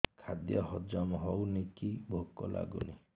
ଖାଦ୍ୟ ହଜମ ହଉନି କି ଭୋକ ଲାଗୁନି